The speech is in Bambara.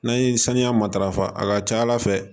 N'an ye saniya matarafa a ka ca ala fɛ